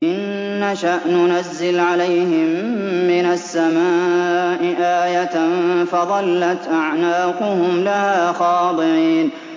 إِن نَّشَأْ نُنَزِّلْ عَلَيْهِم مِّنَ السَّمَاءِ آيَةً فَظَلَّتْ أَعْنَاقُهُمْ لَهَا خَاضِعِينَ